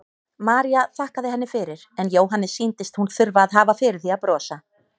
María þakkaði henni fyrir en Jóhanni sýndist hún þurfa að hafa fyrir því að brosa.